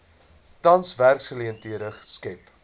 tans werksgeleenthede skep